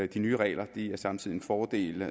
de nye regler er samtidig en fordel